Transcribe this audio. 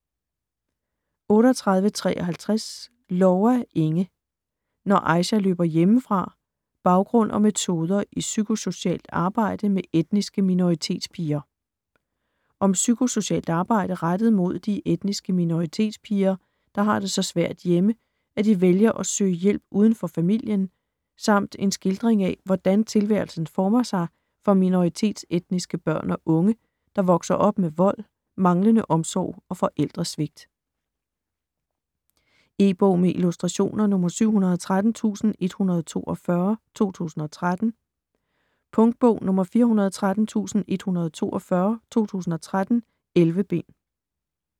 38.53 Loua, Inge: Når Aicha løber hjemmefra: baggrund og metoder i psykosocialt arbejde med etniske minoritetspiger Om psykosocialt arbejde rettet mod de etniske minoritetspiger der har det så svært hjemme, at de vælger at søge hjælpe uden for familien, samt en skildring af hvordan tilværelsen former sig for minoritetsetniske børn og unge der vokser op med vold, manglende omsorg og forældresvigt. E-bog med illustrationer 713142 2013. Punktbog 413142 2013. 11 bind.